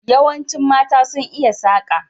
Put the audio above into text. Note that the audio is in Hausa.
Yawanci mata sun iya saka.